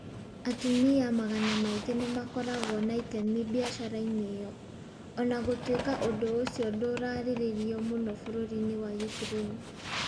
Atumia magana maingĩ nĩ makoragwo na itemi biacara-inĩ ĩyo.O na gũtuĩka ũndũ ũcio ndũrarĩrĩrio mũno bũrũri-inĩ wa Ukraine.